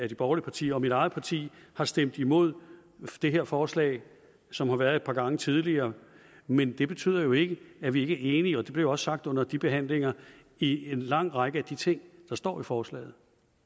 de borgerlige partier og mit eget parti har stemt imod det her forslag som har været fremsat et par gange tidligere men det betyder jo ikke at vi ikke er enige og det blev også sagt under de tidligere behandlinger i en lang række af de ting der står i forslaget